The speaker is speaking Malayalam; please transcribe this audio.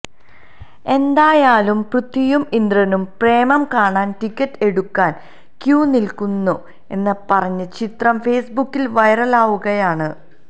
എന്തായാലും പൃഥ്വിയും ഇന്ദ്രനും പ്രേമം കാണാന് ടിക്കറ്റെടുക്കാന് ക്യൂ നില്ക്കുന്നു എന്ന് പറഞ്ഞ് ചിത്രം ഫേസ്ബുക്കില് വൈറലാകുകയാണ്